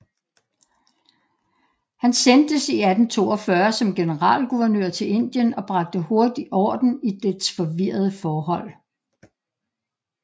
Han sendtes 1842 som generalguvernør til Indien og bragte hurtig orden i dets forvirrede forhold